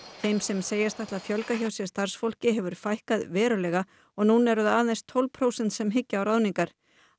þeim sem setjast ætla að fjölga hjá sér starfsfólki hefur fækkað verulega og núna eru það um tólf prósent sem hyggja á ráðningar